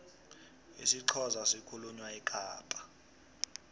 isixhosa sikhulunywa ekapa